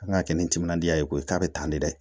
An ka kɛ ni timinandiya ye koyi k'a bɛ tan de dɛ